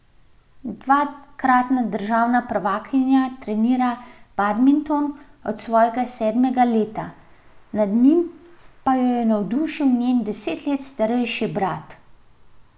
Dvakratna državna prvakinja trenira badminton od svojega sedmega leta, nad njim pa jo je navdušil njen deset let starejši brat.